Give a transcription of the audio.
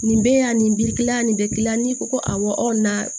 Nin bɛ yan nin b'i la nin bɛ yan n'i ko ko awɔ aw na